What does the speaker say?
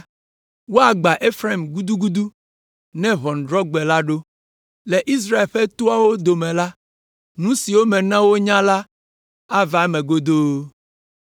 Woagbã Efraim gudugudu ne ʋɔnudrɔ̃gbe la ɖo. Le Israel ƒe toawo dome la, nu siwo mena wo nya la ava eme godoo.